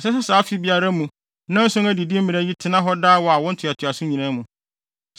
Ɛsɛ sɛ saa afe biara mu nnanson adidi mmara yi tena hɔ daa wɔ awo ntoatoaso nyinaa mu.